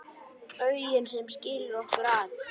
Bauginn sem skilur okkur að.